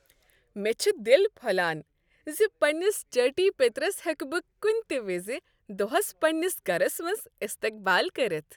مےٚ چھ دل پھۄلان زِ پننس چٲٹی پیٔترس ہیکہ بہ کُنہ تہ وِزِ دۄہس پننس گرس منٛز استقبال کٔرتھ۔